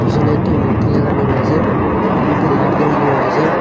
পিসনে একটি মূর্তি লাগানো রয়েসে ঘরের মধ্যে লাইট জ্বালানো রয়েসে।